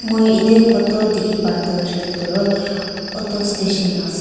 moi itey photo dikhi pah tu huishe kuletu auto station la ase.